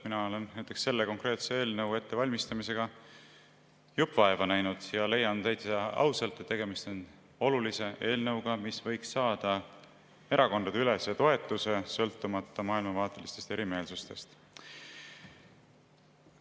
Mina olen näiteks selle konkreetse eelnõu ettevalmistamisega jupp vaeva näinud ja leian täitsa ausalt, et tegemist on olulise eelnõuga, mis võiks saada erakondadeülese toetuse, sõltumata maailmavaatelistest erimeelsustest.